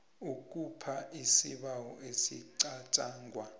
ikhupha isibawo esicatjangwa